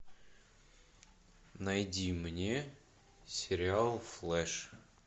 найди мне сериал флэш